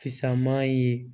Fisaman ye